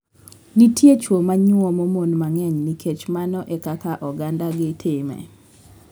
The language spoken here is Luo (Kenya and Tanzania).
Nitie chwo manyuomo mon mang'eny nikech mano e kaka ogandagi time.